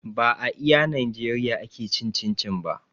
Ba a iya najeriya ake cin cin-cin ba